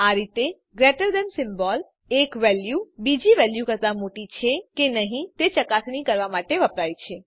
આ રીતે greater than symbol એક વેલ્યુ બીજી વેલ્યુ કરતા મોટી છે કે નહી તે ચકાસણી કરવા માટે વપરાય છે